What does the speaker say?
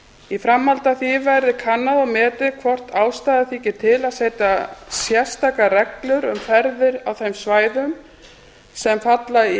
í framhaldi af því verði kannað og metið hvort ástæða þyki til að setja sérstakar reglur um ferðir á þeim svæðum sem falla í